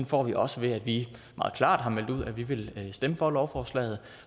får vi også ved at vi meget klart har meldt ud at vi vil stemme for lovforslaget